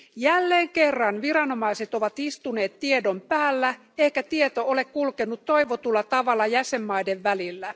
Jälleen kerran viranomaiset ovat istuneet tiedon päällä, eikä tieto ole kulkenut toivotulla tavalla jäsenvaltioiden välillä.